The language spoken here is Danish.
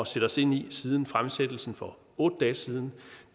sætte os ind i siden fremsættelsen for otte dage siden